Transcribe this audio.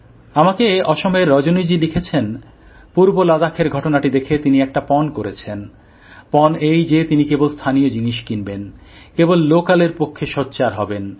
আমাকে আসামের রজনীজি লিখেছেন পূর্ব লাদাখের ঘটনাটি দেখে তিনি স্থির করেছেন তিনি কেবল স্থানীয় জিনিষ কিনবেন কেবল ল্যোকালএর পক্ষে সোচ্চার হবেন